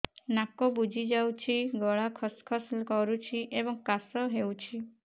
ନାକ ବୁଜି ଯାଉଛି ଗଳା ଖସ ଖସ କରୁଛି ଏବଂ କାଶ ହେଉଛି